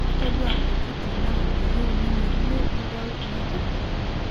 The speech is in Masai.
Atodua ntokiti naa miyeu ninye yie nidol, nejo.